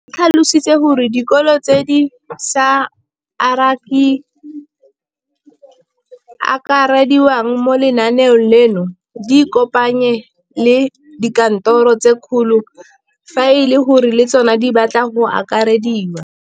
O tlhalositse gore dikolo tse di sa akarediwang mo lenaaneng leno di ikopanye le dikantoro tsa kgaolo fa e le gore le tsona di batla go akarediwa.